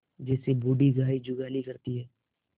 जैसे बूढ़ी गाय जुगाली करती है